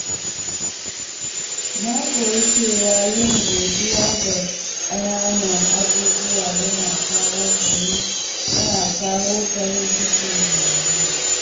Na koyi cewa yin godiya ga ƙananan abubuwa yana kawo farin ciki mai yawa.